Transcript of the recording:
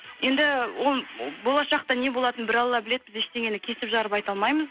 енді болашақта не болатының бір алла біледі біз ештеңені кесіп жарып айта алмаймыз